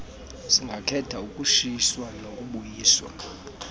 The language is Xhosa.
singakhetha ukutshiswa nokubuyiswa